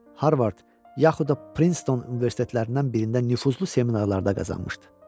Yel, Harvard yaxud da Prinston universitetlərindən birində nüfuzlu seminarlarda qazanmışdı.